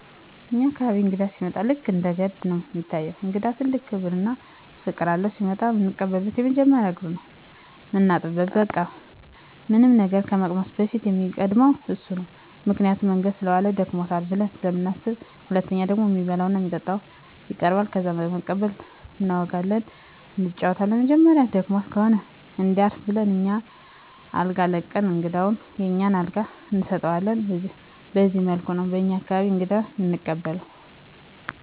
በኛ አካባቢ እንግዳ ሲመጣ ልክ እንደ ገድ ነው እሚታየው። ለእንግዳ ትልቅ ክብር እና ፍቅር አለው። ሲመጣ እምንቀበለው መጀመሪያ እግሩን ነው ምናጥበው በቃ ምንም ነገር ከመቅመሱ በፊት እሚቀድመው እሱ ነው ምክንያቱም መንገድ ሰለዋለ ደክሞታል ብለን ስለምናስብ። ሁለተኛው ደግሞ እሚበላ እና እሚጠጣ ይቀርባል። ከዛ በመቀጠል እናወጋለን እንጫወታለን በመጨረሻም ደክሞት ከሆነ እንዲያርፍ ብለን አኛ አልጋ ለቀን እንግዳውን የኛን አልጋ እንሰጠዋለን በዚህ መልኩ ነው በኛ አካባቢ እንግዳ እምንቀበለው።